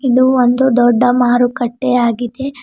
ಇದು ಒಂದು ದೊಡ್ಡ ಮಾರುಕಟ್ಟೆ ಆಗಿದೆ.